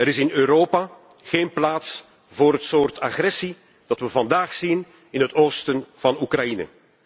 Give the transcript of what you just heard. Er is in Europa geen plaats voor het soort agressie dat we vandaag zien in het oosten van Oekraïne.